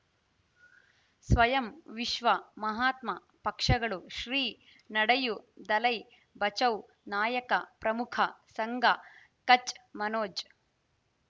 ಸ್ವಯಂ ವಿಶ್ವ ಮಹಾತ್ಮ ಪಕ್ಷಗಳು ಶ್ರೀ ನಡೆಯೂ ದಲೈ ಬಚೌ ನಾಯಕ ಪ್ರಮುಖ ಸಂಘ ಕಚ್ ಮನೋಜ್